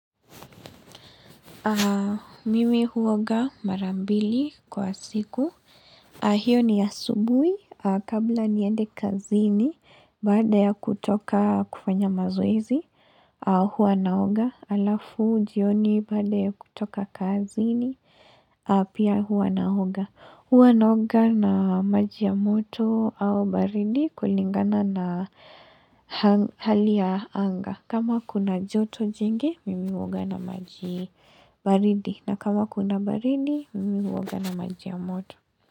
Mimi huoga marambili kwa siku. Hio ni asubui kabla niende kazini baada ya kutoka kufanya mazoezi huwa naoga alafu jioni baada ya kutoka kazini pia huwa naoga. Huwa naoga na maji ya moto au baridi kulingana na hali ya anga. Kama kuna joto jingi, mimi huoga na maji baridi. Na kama kuna baridi, mimi woga na maji ya moto.